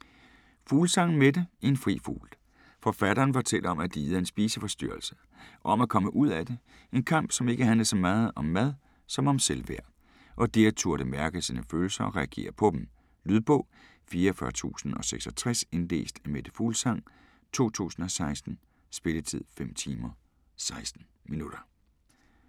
Fuglsang, Mette: En fri fugl Forfatteren fortæller om at lide af en spiseforstyrrelse, om at komme ud af det - en kamp som ikke handlede så meget om mad som om selvværd - og det at turde mærke sine følelser og reagere på dem. Lydbog 44066 Indlæst af Mette Fuglsang, 2016. Spilletid: 5 timer, 16 minutter.